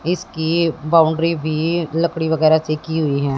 इसकी बाउंड्री भी लकड़ी वगैरा से की हुई हैं।